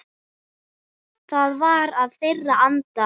Það var í þeirra anda.